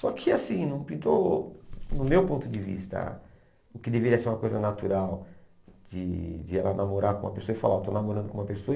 Só que assim, não pintou, no meu ponto de vista, o que deveria ser uma coisa natural de de ela namorar com uma pessoa e falar, oh, estou namorando com uma pessoa.